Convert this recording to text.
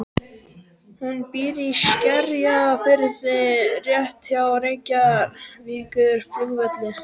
Hún býr í Skerjafirði rétt hjá Reykjavíkurflugvelli.